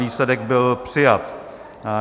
Výsledek byl přijat.